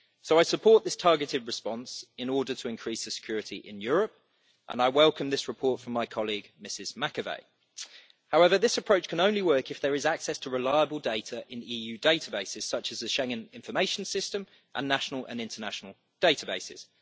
So I support this targeted response in order to increase the security in Europe, and I welcome this report from my colleague Ms Macovei. However, this approach can only work if there is access to reliable data in EU databases, such as the Schengen Information System, and national and international databases.